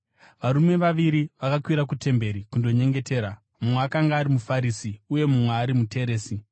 “Varume vaviri vakakwira kutemberi kundonyengetera, mumwe akanga ari muFarisi uye mumwe ari muteresi.